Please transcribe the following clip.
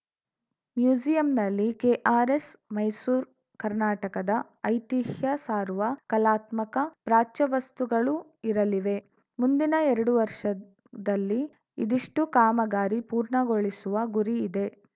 ಮ್ಯೂಸಿಯಂನಲ್ಲಿ KRS Mysore ಕರ್ನಾಟಕದ ಐತಿಹ್ಯ ಸಾರುವ ಕಲಾತ್ಮಕ ಪ್ರಾಚ್ಯವಸ್ತುಗಳು ಇರಲಿವೆ ಮುಂದಿನ ಎರಡು ವರ್ಷದಲ್ಲಿ ಇದಿಷ್ಟೂಕಾಮಾಗಾರಿ ಪೂರ್ಣಗೊಳಿಸುವ ಗುರಿ ಇದೆ